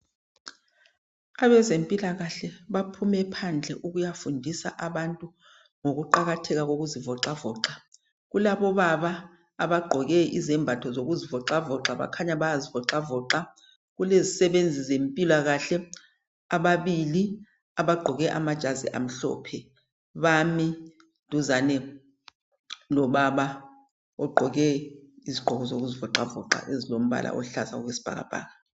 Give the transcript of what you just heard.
Abezempilakahle baphume phandle ukuyafundisa abantu ngokuqakatheka kokuzivoxavoxa. Kulabobaba abagqoke izembatho zokuzivoxavoxa. Bakhanya bayazivoxavoxa. Kulezisebenzi zempilakahle, ababili, abagqoke anajazi amhlophe. Bami duzane kukababa, ogqoke izigqoko ezokuzivoxavoxa. Ezilombala oluhlaza, okwesibhakabhaka.